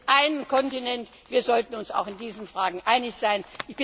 Wir sind ein Kontinent, wir sollten uns auch in diesen Fragen einig sein.